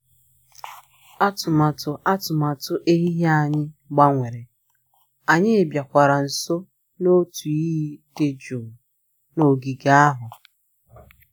Atụmatụ Atụmatụ ehihie anyị gbanwere, anyị bịakwara nso n'otu iyi dị jụụ n'ogige ahụ